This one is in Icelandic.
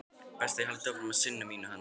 Best ég haldi áfram að sinna mínu handverki.